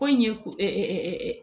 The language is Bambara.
Ko in ye